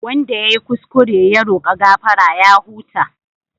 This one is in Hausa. Wanda ya yi kuskure ya roka gafara ya huta.